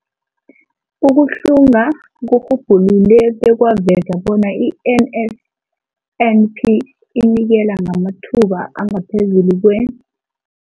Ukuhlunga kurhubhulule bekwaveza bona i-NSNP inikela ngamathuba angaphezulu kwe-